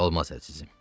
Olmaz əzizim.